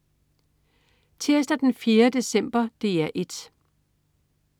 Tirsdag den 4. december - DR 1: